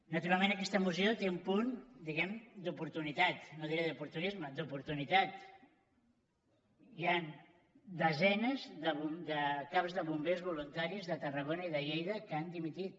naturalment aquesta moció té un punt diguem ne d’oportunitat no diré d’oportunisme d’oportunitat hi han desenes de caps de bombers voluntaris de tarragona i de lleida que han dimitit